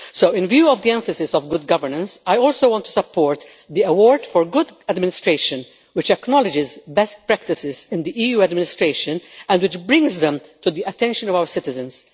In view of the emphasis on good governance, I also want to support the Award for Good Administration, which acknowledges best practices in the EU administration and which brings them to the attention of our citizens.